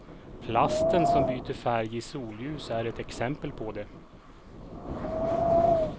Plasten som byter färg i solljus är ett exempel på det.